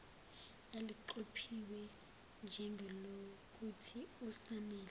eliqophiwe njengelokuthi usamele